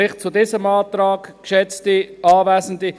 Vielleicht zum anderen Antrag, geschätzte Anwesende.